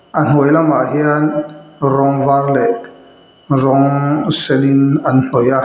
a hnuai lamah hian rawng var leh rawng senin an hnawih a.